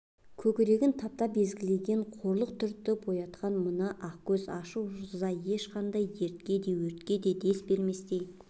көкрегін таптап езгілеген қорлық түртіп оятқан мына ақкөз ашу-ыза ешқандай дертке де өртке де дес берместей